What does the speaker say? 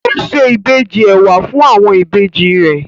Kò se ìbejì ẹ̀wà fún àwọn ìbejì rẹ̀?